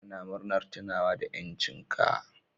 Yau ana murna tunawa da 'yancin ka.